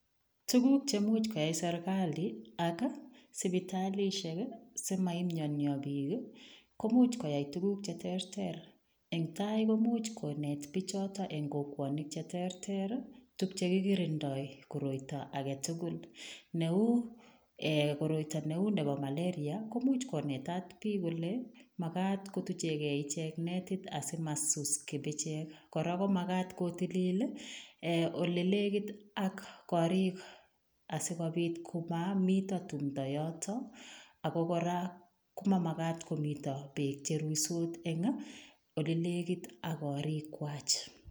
Tuguuk che muuch koyai serikali ak ii sipitalishek simaimiania biik ii komuuch koyai tuguuk che terter eng tai komuuch kobeet bichotoo eng kokwatiinweek ch terter tuguuk che kikirindai koroitoo age tugul ne uu nebo malaria komuuch konetat biik kole magaat kotucheen kei ichegeet netit asimasus kipicheek korako magaat kotiliil eeh ole nekiit ak koriig asikobiit ko mamitaa tumdo yotoon ako kora koma magaat komiteen beek cherusuut en ole negiit ak koriig kwaak.